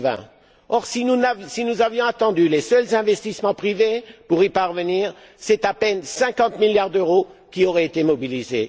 2020. Or, si nous avions attendu les seuls investissements privés pour y parvenir, c'est à peine 50 milliards d'euros qui auraient été mobilisés.